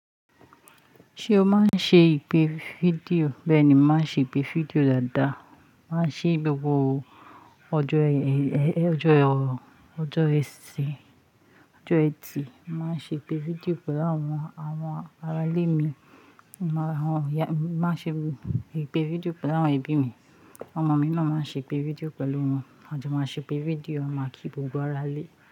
Ṣé o máa ń ṣe ìpè fídíò? Bẹ́ẹ̀ ni, mo màá ń ṣe ìpè fídíò dáadáa. Màá ń ṣe gbogbo ọjọ́ ẹ̀, ọjọ́, ọjọ́ ẹtì. Màá ń ṣe ìpè fídíò pẹ̀lú àwọn, àwọn arálé mi. Màá ń ṣe ìpè fídíò pẹ̀lú àwọn ẹbí mi. Àwọn ọmọ mi náà máa ń ṣe ìpè fídíò pẹ̀lú wọn. A máa sì ṣe ìpè fídíò, à máa kí gbogbo aralé.